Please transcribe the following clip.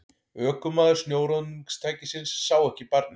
Ökumaður snjóruðningstækisins sá ekki barnið